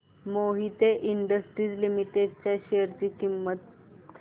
Mohit industries limited च्या share ची किंमत